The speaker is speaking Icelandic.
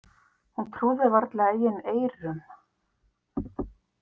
Hann trúði varla eigin eyrum.